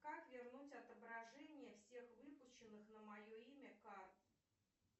как вернуть отображение всех выпущенных на мое имя карт